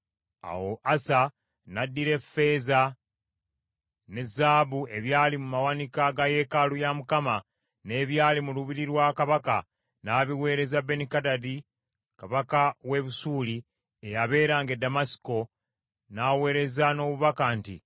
Awo Asa n’addira ffeeza ne zaabu ebyali mu mawanika ga yeekaalu ya Mukama , n’ebyali mu lubiri lwa kabaka, n’abiweereza Benikadadi kabaka w’e Busuuli, eyabeeranga e Ddamasiko, n’aweereza n’obubaka nti,